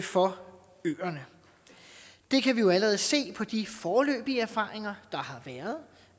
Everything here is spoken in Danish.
for øerne det kan vi jo allerede se på de foreløbige erfaringer der har været